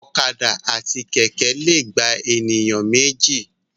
Ọ̀kadà àti Kẹ̀kẹ́ lè gba èèyàn méjì